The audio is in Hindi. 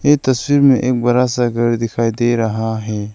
ये तस्वीर में एक बरा सा घर दिखाई दे रहा है।